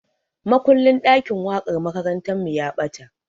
Makullin ɗakin waƙar makarantarmu ya ɓata.